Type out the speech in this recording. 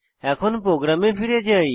এখন প্রোগ্রামে ফিরে যাই